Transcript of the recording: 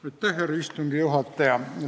Aitäh, härra istungi juhataja!